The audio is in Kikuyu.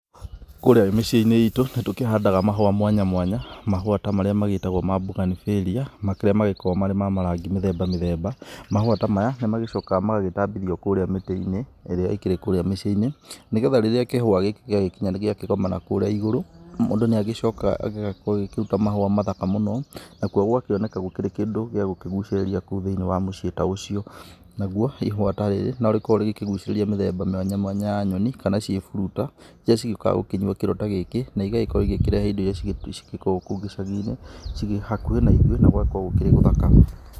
Kũrĩa mĩciĩ-inĩ itũ nĩ tũkĩhandaga mahũa mwanya mwanya, mahũa ta marĩa magĩtagwo ma bouganvillea marĩa makoragwo marĩ ma marangi mĩthemba mĩthemba, mahũa ta maya nĩ magĩcokaga magagĩtambithio kũrĩa mĩtĩ-inĩ ĩrĩa ĩkĩrĩ kũrĩa mĩciĩ-inĩ, nĩgetha rĩrĩa kĩhũa gĩkĩ gĩagĩkinya nĩ gĩakĩgomana kũrĩa igũrũ, mũndũ nĩ agĩcokaga gĩgakorwo gĩgĩkĩruta mahũa mathaka mũno, nakuo gũgakĩoneka gũkĩrĩ kĩndũ gĩa gũkĩgucĩrĩria kou thĩ-inĩ wa mũciĩ ta ũcio, naguo ihũa ta rĩrĩ no rĩkoragwo rĩgĩkĩgucĩrĩria mĩthemba mwanya mwanya ya nyoni kana ciĩburuta iria cigĩũkaga gũkĩnyua kĩronda gĩkĩ, na igagĩkorwo igĩkĩrehe indo iria cigĩkoragwo kũu icagi-inĩ hakuhĩ na ithuĩ na gũgakorwo gũkĩrĩ gũthaka.